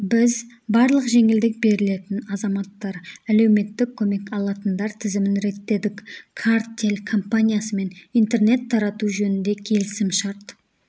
біз барлық жеңілдік берілетін азаматтар әлеуметтік көмек алатындар тізімін реттедік кар-тел компаниясымен интернет тарату жөнінде келісімшарт